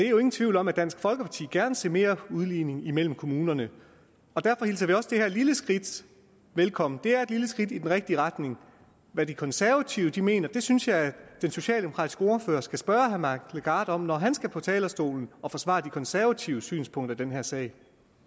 jo ingen tvivl om at dansk folkeparti gerne så mere udligning mellem kommunerne derfor hilser vi også det her lille skridt velkommen det er et lille skridt i den rigtige retning hvad de konservative mener synes jeg at den socialdemokratiske ordfører skal spørge herre mike legarth om når han skal på talerstolen og forsvare de konservatives synspunkter i den her sag